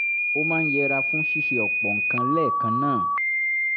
ó máa ń yẹra fún ṣíṣe ọ̀pọ̀ nǹkan lẹ́ẹ̀kan náà